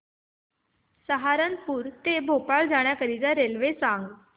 सहारनपुर ते भोपाळ जाण्यासाठी रेल्वे सांग